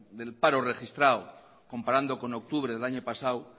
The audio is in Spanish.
del paro registrado comparado con octubre del año pasado